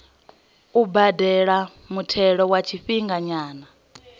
u badela muthelo wa tshifhinganyana